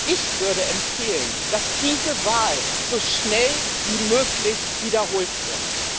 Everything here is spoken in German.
Ich würde empfehlen, dass diese Wahl so schnell wie möglich wiederholt wird.